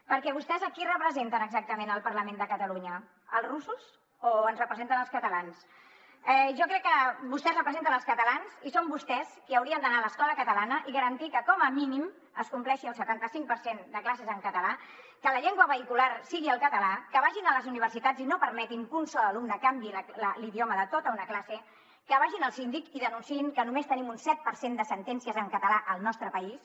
perquè vostès a qui representen exactament al parlament de catalunya als russos o ens representen als catalans jo crec que vostès representen els catalans i són vostès qui haurien d’anar a l’escola catalana i garantir que com a mínim es compleixi el setanta cinc per cent de classes en català que la llengua vehicular sigui el català que vagin a les universitats i no permetin que un sol alumne canviï l’idioma de tota una classe que vagin al síndic i denunciïn que només tenim un set per cent de sentències en català al nostre país